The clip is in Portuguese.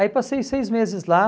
Aí passei seis meses lá.